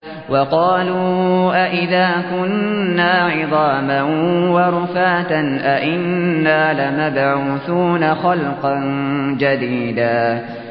وَقَالُوا أَإِذَا كُنَّا عِظَامًا وَرُفَاتًا أَإِنَّا لَمَبْعُوثُونَ خَلْقًا جَدِيدًا